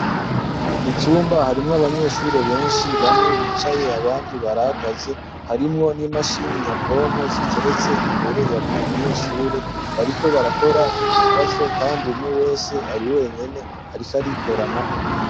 Mu cumba harimwo abanyeshure benshi bamwe bicaye abandi barahagaze harimwo n'imashini nyabwonko ziteretse imbere ya buri munyeshure bariko barakora ikibazo kandi umwe wese ari wenyene ariko arikorana.